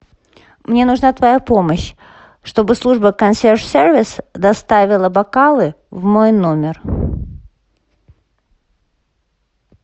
мне нужна твоя помощь чтобы служба консьерж сервис доставила бокалы в мой номер